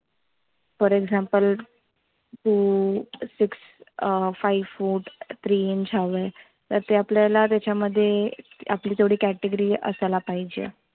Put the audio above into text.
For example two, six, five, four, three inch हव आहे. तर ते आपल्याला त्याच्यामध्ये आपली तेव्हडी category असायला पाहिजे.